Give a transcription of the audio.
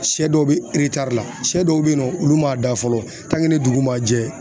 Sɛ dɔw bɛ la sɛ dɔw bɛ yen nɔ olu m'a da fɔlɔ ni dugu ma jɛ